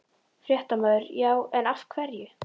Fréttamaður: Já, en af hverju?